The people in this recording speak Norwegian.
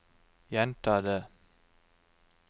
gjenta det